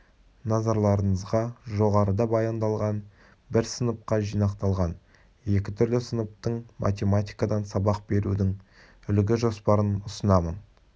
назарларыңызға жоғарыда баяндалған бір сыныпқа жинақталған екі түрлі сыныптың математикадан сабақ берудің үлгі-жоспарын ұсынамын